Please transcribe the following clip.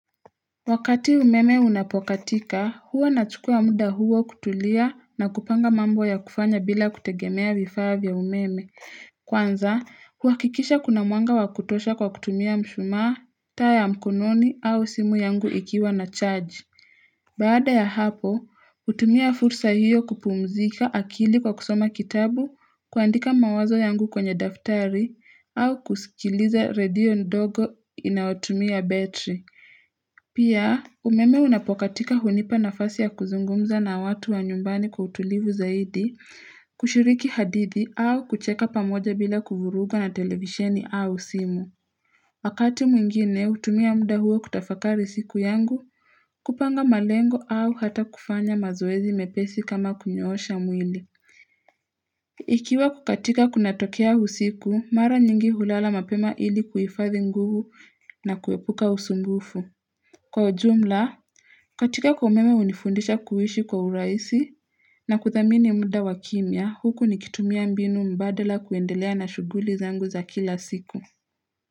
Wakati umeme unapokatika, huwa na chukua muda huwa kutulia na kupanga mambo ya kufanya bila kutegemea vifaa umeme. Kwanza, huhakikisha kuna mwanga wakutosha kwa kutumia mshumaa, taa ya mkononi au simu yangu ikiwa na charge. Baada ya hapo, utumia fursa hiyo kupumzika akili kwa kusoma kitabu, kuandika mawazo yangu kwenye daftari, au kusikilize radio ndogo inaotumia betri. Pia umeme unapokatika hunipa nafasi ya kuzungumza na watu wa nyumbani kwa utulivu zaidi kushiriki hadithi au kucheka pamoja bila kuvuruga na televiseni au simu Wakati mwingine hutumia muda huo kutafakari siku yangu kupanga malengo au hata kufanya mazoezi mepesi kama kunyosha mwili Ikiwa kukatika kunatokea usiku mara nyingi hulala mapema ili kuifathi nguvu na kuepuka usumbufu Kwa ujumla, kukatika kwa umeme hunifundisha kuishi kwa uraisi na kuthamini munda wakimia huku nikitumia mbinu mbadala kuendelea na shuguli zangu za kila siku.